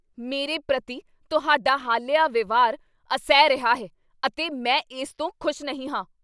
ਮੇਰੇ ਪ੍ਰਤੀ ਤੁਹਾਡਾ ਹਾਲੀਆ ਵਿਵਹਾਰ ਅਸਹਿ ਰਿਹਾ ਹੈ ਅਤੇ ਮੈਂ ਇਸ ਤੋਂ ਖੁਸ਼ ਨਹੀਂ ਹਾਂ।